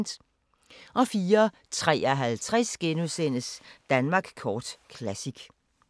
04:53: Danmark kort Classic *